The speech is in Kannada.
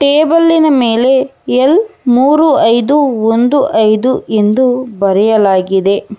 ಟೇಬಲ್ಲಿನ ಮೇಲೆ ಎಲ್ ಮೂರು ಐದು ಒಂದು ಐದು ಎಂದು ಬರೆಯಲಾಗಿದೆ.